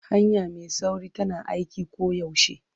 Hanya mai sauri tana aiki koyaushe.